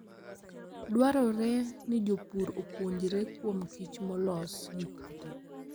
Dwarore ni jopur opuonjre kuom kich molos gi kute.